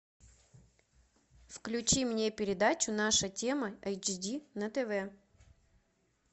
включи мне передачу наша тема эйч ди на тв